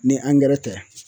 Ni angɛrɛ tɛ